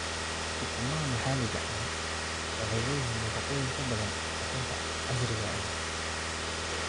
Ukumaha maxalliga ahi waxay leeyihiin nafaqooyin ka badan ukunta casriga ah.